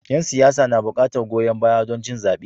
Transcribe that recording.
Yan siyasa na buƙatar goyon baya don cin zabe.